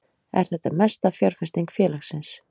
Er þetta mesta fjárfesting félagsins